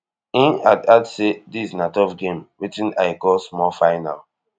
im add add say dis na tough game wetin i call small final